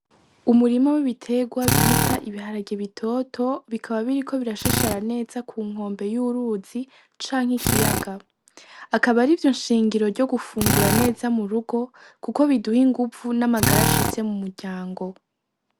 Umurima wibiterwa bita ibiharage bitoto ,biriko birashashara neza kunkombe y'uruzi canke ikiyaga, akaba arivyo nshingiro ryo gufungura neza murugo kuko biduha inguvu n'amagara ashitse mumuryango.